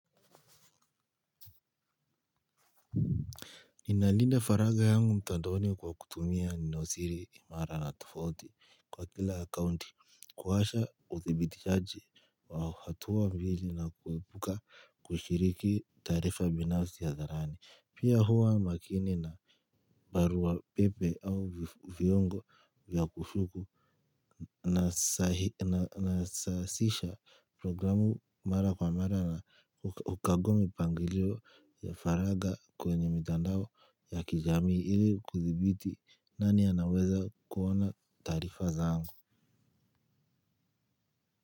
Inalinda faragha yangu mtandaoni kwa kutumia nenosiri mara na tofauti kwa kila account kuwasha uthibitishaji wa hatua mbili na kuepuka kushiriki taarifa binafsi hadharani pia huwa makini na barua pepe au viungo vya kufuku na sasisha programu. Mara kwa mara na hukagua mipangilio ya faragha kwenye mitandao ya kijamii ili kuthibiti nani anaweza kuona tarifa zaangu.